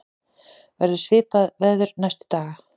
verður svipað veður næstu daga